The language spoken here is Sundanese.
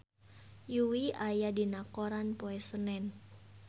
Yui aya dina koran poe Senen